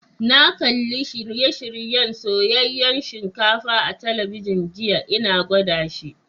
Na kalli shirye-shiryen soyayen shinkafa a'telibijin jiya, n'na gwada shi.